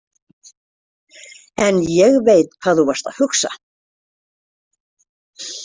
En ég veit hvað þú varst að hugsa.